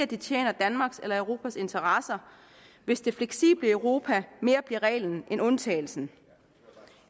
det tjener danmarks eller europas interesser hvis det fleksible europa mere bliver reglen end undtagelsen